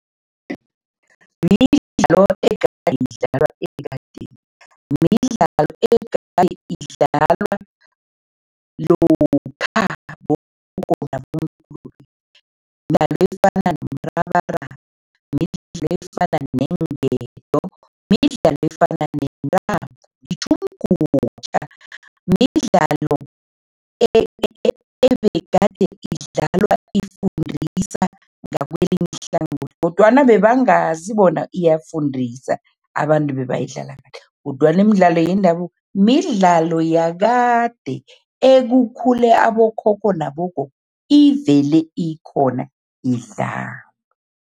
Midlalo egade idlalwa ekadeni, midlalo egade idlalwa lokha bogogo nabomkhulu efana nomrabaraba midlalo, efana neenketo, midlalo efana nentambo . Midlalo ebegade idlalwa ifundisa ngakwelinye ihlangothi kodwana bebangazi bona iyafundisa, abantu kodwana imidlalo yendabuko midlalo yakade ekukhule abokhokho nabogogo ivele ikhona idlalwa.